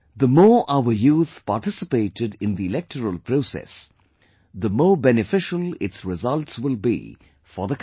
The more our youth participate in the electoral process, the more beneficial its results will be for the country